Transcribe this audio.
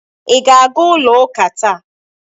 Ị ga-aga ụlọ ụka taa?